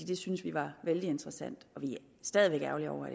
det synes vi var vældig interessant og vi er stadig væk ærgerlige over